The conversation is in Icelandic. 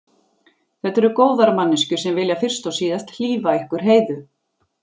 Þetta eru góðar manneskjur sem vilja fyrst og síðast hlífa ykkur Heiðu.